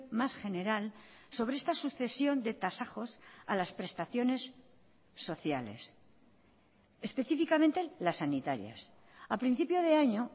más general sobre esta sucesión de tasajos a las prestaciones sociales específicamente las sanitarias a principio de año